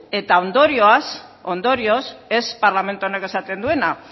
eta ondorioz ez parlamentu honek esaten duena